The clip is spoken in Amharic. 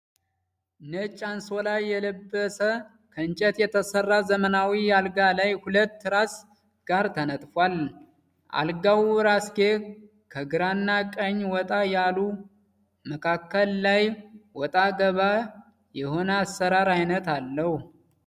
ነጭ አንሶላ የለበስ ከእንጨት የተሰራ ዘመናዊ አልጋ ላይ ሁለት ትራስ ጋር ተነጥፏል። አልጋዉ እራስጌ ከግራና ከቀኝ ወጣ ያሉ መካከል ላይ ወጣ ገባ የሆነ አሰራር አይነት አለዉ።